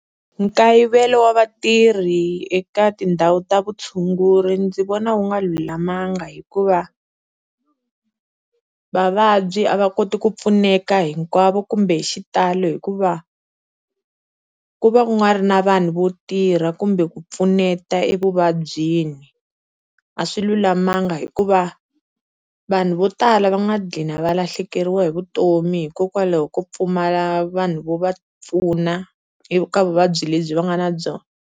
Nkayivelo wa vatirhi eka tindhawu ta vutshunguri ndzi vona wu nga lulamanga hikuva vavabyi a va koti ku pfuneka hinkwavo kumbe hi xitalo hikuva ku va nga ri na vanhu vo tirha kumbe ku pfuneta evuvabyini. A swi lulamanga hikuva vanhu vo tala va nga gqina va lahlekeriwa hi vutomi hikokwalaho ko pfumala vanhu vo va pfuna eka vuvabyi lebyi va nga na byona.